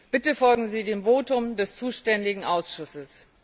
Bitte folgen Sie dem Votum des zuständigen Ausschusses.